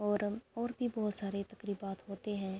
اور اور بھی بہت سارے تکریبات ہوتے ہے۔